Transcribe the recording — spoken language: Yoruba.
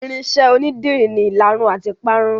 Irinṣẹ́ onídìrí ni ìlarun àti ìparun.